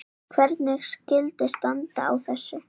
Hvernig skyldi standa á þessu?